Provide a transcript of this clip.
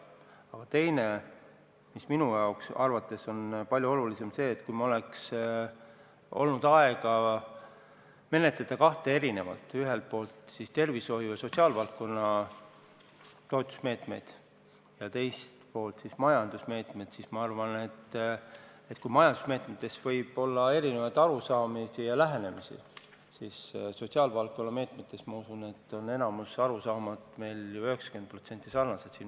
Aga teine, mis minu arvates on palju olulisem, on see, et kui meil oleks olnud aega menetleda eraldi kahte plokki – ühelt poolt siis tervishoiu ja sotsiaalvaldkonna toetusmeetmed ja teiselt poolt majandusmeetmed –, siis kui majandusmeetmete puhul võib olla erinevaid arusaamu ja lähenemisi, siis sotsiaalvaldkonna meetmete puhul, ma usun, on meist enamiku arusaamad 90% ulatuses sarnased.